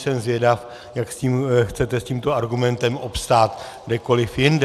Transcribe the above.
Jsem zvědav, jak chcete s tímto argumentem obstát kdekoli jinde.